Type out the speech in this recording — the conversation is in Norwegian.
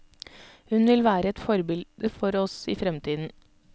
Hun vil være et forbilde for oss i fremtiden.